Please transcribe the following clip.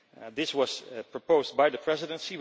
This was proposed by the Presidency.